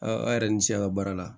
Aa aw yɛrɛ ni ce a ka baara la